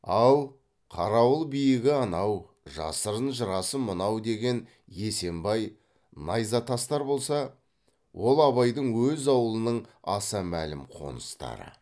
ал қарауыл биігі анау жасырын жырасы мынау деген есембай найзатастар болса ол абайдың өз аулының аса мәлім қоныстары